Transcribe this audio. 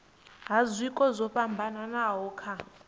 ha zwiko zwo fhambanaho kha